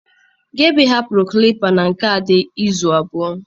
Gada hapụrụ clippa na nke Ade izu abụọ.